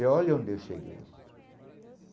Eu olha onde eu cheguei.